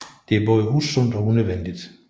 Det er både usundt og unødvendigt